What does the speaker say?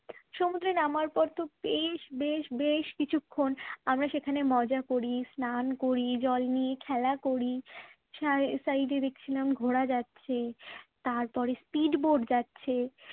সমুদ্রে নামার পর তো বেশ বেশ বেশ বেশ কিছুক্ষণ আমরা সেখানে মজা করি স্নান করি জল নিয়ে খেলা করি সাই side দেখছিলাম ঘোড়া যাচ্ছে। তারপরে speed boat যাচ্ছে